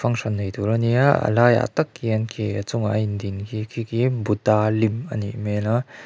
function nei tur a nia a laiah tak khian khi a chungah a indin khi khi khi buddha lim a nih hmel a--